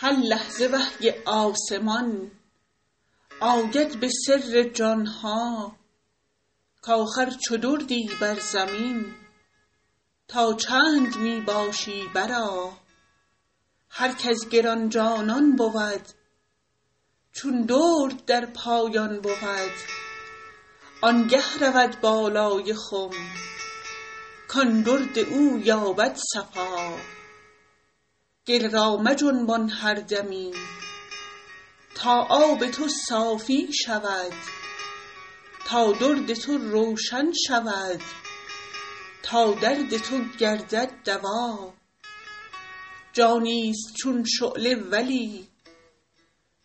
هر لحظه وحی آسمان آید به سر جان ها کاخر چو دردی بر زمین تا چند می باشی برآ هر کز گران جانان بود چون درد در پایان بود آنگه رود بالای خم کان درد او یابد صفا گل را مجنبان هر دمی تا آب تو صافی شود تا درد تو روشن شود تا درد تو گردد دوا جانیست چون شعله ولی